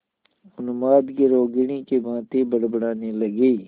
उन्माद की रोगिणी की भांति बड़बड़ाने लगी